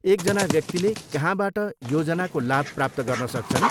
एकजना व्यक्तिले कहाँबाट योजनाको लाभ प्राप्त गर्न सक्छन्?